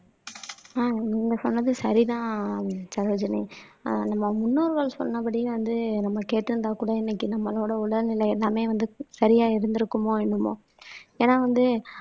ஆஹ் நீங்க சொன்னது சரிதான் சரோஜினி ஆஹ் நம்ம முன்னோர்கள் சொன்னபடியே வந்து நம்ம கேட்டு இருந்தா கூட இன்னைக்கு நம்மளோட உடல்நிலை எல்லாமே வந்து சரியா இருந்திருக்குமோ என்னமோ ஏன்னா வந்து